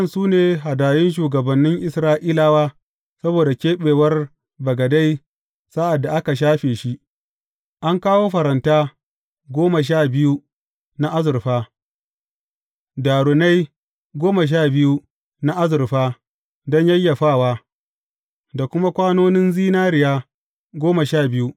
Waɗannan su ne hadayun shugabannin Isra’ilawa saboda keɓewar bagade sa’ad da aka shafe shi, an kawo faranta goma sha biyu na azurfa, darunan goma sha biyu na azurfa don yayyafawa, da kuma kwanonin zinariya goma sha biyu.